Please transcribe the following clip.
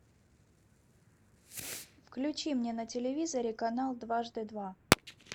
включи мне на телевизоре канал дважды два